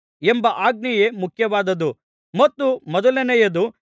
ಎಂಬ ಆಜ್ಞೆಯೇ ಮುಖ್ಯವಾದದ್ದು ಮತ್ತು ಮೊದಲನೆಯದು